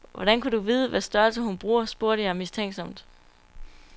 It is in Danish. Hvordan kunne du vide, hvad størrelse hun bruger, spurgte jeg mistænksomt.